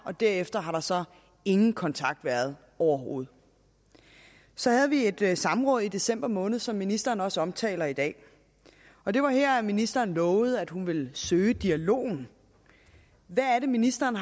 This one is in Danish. derefter har der så ingen kontakt været overhovedet så havde vi et et samråd i december måned som ministeren også omtaler i dag og det var her ministeren lovede at hun ville søge dialogen hvad er det ministeren